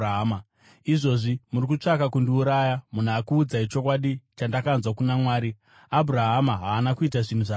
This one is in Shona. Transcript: Izvozvi muri kutsvaka kundiuraya, munhu akuudzai chokwadi chandakanzwa kuna Mwari. Abhurahama haana kuita zvinhu zvakadai.